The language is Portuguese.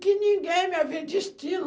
Que ninguém me havia destino.